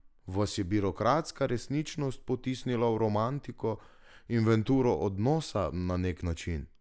Vas je birokratska resničnost potisnila v romantiko, inventuro odnosa na nek način?